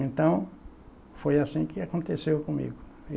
Então, foi assim que aconteceu comigo.